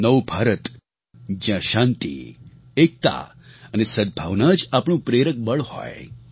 નવું ભારત જ્યાં શાંતિ એકતા અને સદભાવના જ આપણું પ્રેરક બળ હોય